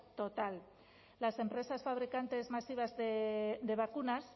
total las empresas fabricantes masivas de vacunas